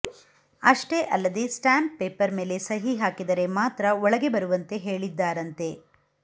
ಅಷ್ಟೇ ಅಲ್ಲದೇ stamp paper ಮೇಲೆ ಸಹಿ ಹಾಕಿದರೆ ಮಾತ್ರ ಒಳಗೆ ಬರುವಂತೆ ಹೇಳಿದ್ದಾರಂತೆ